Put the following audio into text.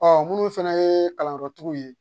Ɔ munnu fɛnɛ ye kalanyɔrɔtigiw ye